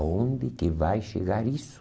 Aonde que vai chegar isso?